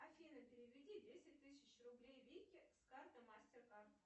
афина переведи десять тысяч рублей вике с карты мастер кард